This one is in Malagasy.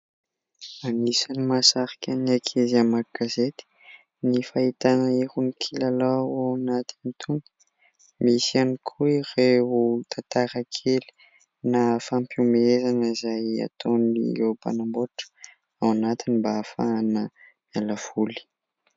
Anisany mahasarika ny ankizy hamaky gazety ny fahitana irony kilalao ao anatiny itony ; misy ihany koa ireo tantara kely na fampihomezana izay ataony ireo mpanamboatra ao anatiny mba hahafahana miala voly.